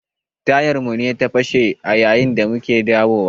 Tayar mu ce ta fashe a yayin da muke dawo wa.